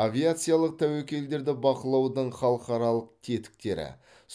авиациялық тәуекелдерді бақылаудың халықаралық тетіктері